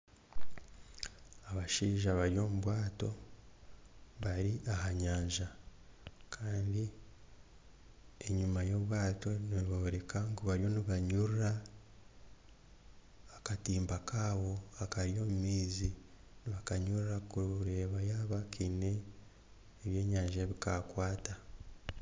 Abashaija bari omu bwato bari aha nyanja kandi enyima y'obwato nibooreka ngu bariyo nibanyurura akatimba kaabo akari omu maizi nibakanyurura kureeba yaaba kaine ebyenyanja ebi kakwata.